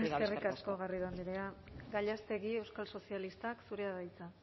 eskerrik asko garrido andrea gallástegui euskal sozialistak zurea da hitza